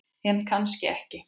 En kannski ekki.